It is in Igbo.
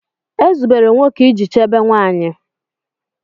Ezubere nwoke iji chebe nwanyị